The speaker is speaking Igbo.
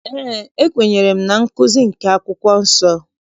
Eé, ekwenyere m na nkụzi nke akwụkwọ nsọ.